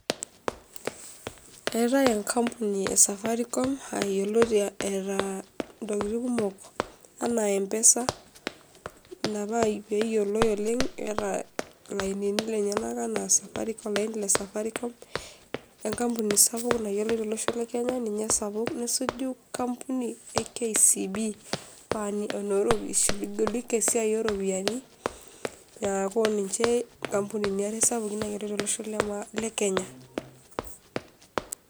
Eeetai enkampuni e safaricom aa yioloti eetaa ntokitin kumok enaa mpesa, ina paa peeyoloi oleng', eeta lainini lenyenak enaa safaricom, olaini le safaricom, enkampuni sapuk nayioloi tolosho le kenya, ninye esapuk. Nesuju kampuni e KCB ee wa enoo ropi ishughulika esiai oo ropiani, neeku ninje nkampunini are sapukin naayiloi tolosho le maa le kenya.